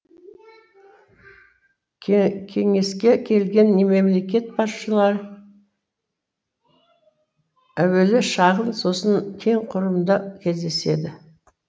кеңеске келген мемлекет басшылары әуелі шағын сосын кең құрамда кездеседі